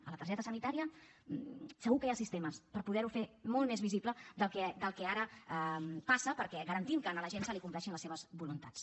a la targeta sanitària segur que hi ha sistemes per poder ho fer molt més visible del que ara passa perquè garantim que a la gent se li compleixen les seves voluntats